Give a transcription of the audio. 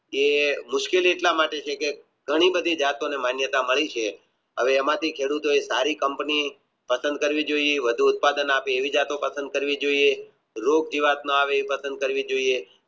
એ મુશ્કેલ એટલા માટે છે કે ઘણી બધી માન્યતા મળી છે હવે એમાંથી ખેડૂતો એ સારી કંપની બંધ કરવી જોઇએ એ ઉત્પાદન આપે એવી પસંદ કરવી રોગ જોઇએ